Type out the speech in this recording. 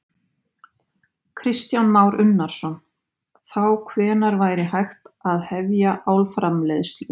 Kristján Már Unnarsson: Þá hvenær væri hægt að hefja álframleiðslu?